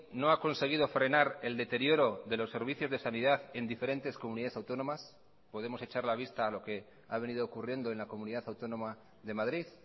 no ha conseguido frenar el deterioro de los servicios de sanidad en diferentes comunidades autónomas podemos echar la vista a lo que ha venido ocurriendo en la comunidad autónoma de madrid